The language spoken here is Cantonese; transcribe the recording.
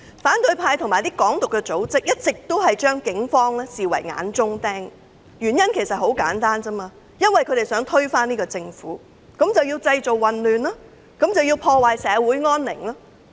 反對派及一些"港獨"組織一直將警方視為眼中釘，原因很簡單，因為他們想推翻政府，於是製造混亂及破壞社會安寧。